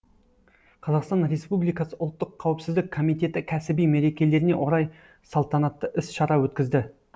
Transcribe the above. қазақстан республикасы ұлттық қауіпсіздік комитеті кәсіби мерекелеріне орай салтанатты іс шара өткізді